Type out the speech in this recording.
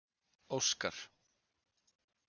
Óskar